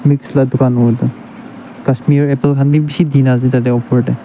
mix la dukan howo edu kashmir apple khan bi bishi dina ase opor tae.